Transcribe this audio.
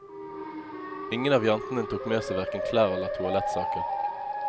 Ingen av jentene tok med seg hverken klær eller toalettsaker.